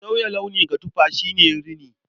Sauya launi ga tufa shi ne rini.